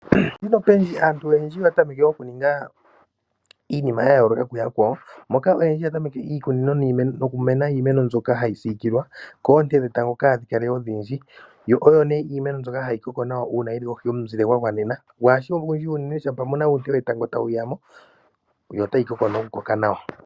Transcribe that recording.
Olundji aantu oyendji oya tameke okuninga iinima ya yooloka kuyakwawo moka oyendji ya tameke iikunino nokumeno iimeno mbyoka hayi siikilwa koonte dhetango kadhi kale odhindji . Yo oyo nee iimeno mbyoka hayi koko nawa uuna yili kohi yomuzile gwa gwanena, kagushi ogundji shampa muna uunte wetango tawu ya mo yo otayi koko noku koka nawa.